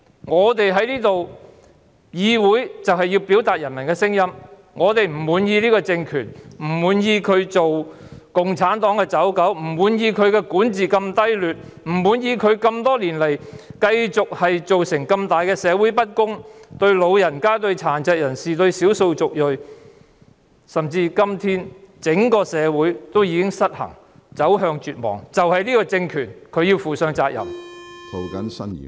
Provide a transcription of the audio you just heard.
我們在議會要表達人民的聲音，我們不滿意這個政權，不滿意它作為共產黨的走狗，不滿意管治如此低劣，不滿意多年來造成社會嚴重不公，包括對長者、殘疾人士和少數族裔，甚至今天整個社會已經失衡，走向絕望，這個政權要負上責任。